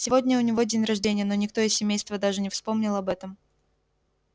сегодня у него день рождения но никто из семейства даже не вспомнил об этом